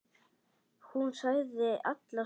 Hún sagði honum alla söguna.